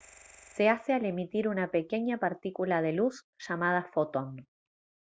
se hace al emitir una pequeña partícula de luz llamada «fotón»